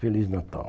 Feliz Natal.